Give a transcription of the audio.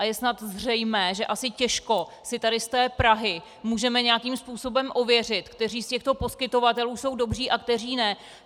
A je snad zřejmé, že asi těžko si tady z té Prahy můžeme nějakým způsobem ověřit, kteří z těchto poskytovatelů jsou dobří a kteří ne.